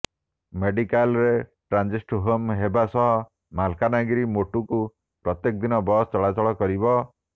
ମେଡିକାଲରେ transit home ହେବା ସହ ମାଲକାନଗିରି ମୋଟୁକୁ ପ୍ରତ୍ୟେକ ଦିନ ବସ୍ ଚଳାଚଳ କରିବ